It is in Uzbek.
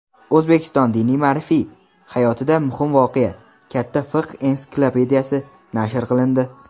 O‘zbekiston diniy-ma’rifiy hayotida muhim voqea: "Katta fiqh ensiklopediyasi" nashr qilindi.